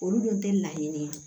Olu bɛ tɛ laɲini ye